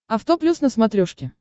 авто плюс на смотрешке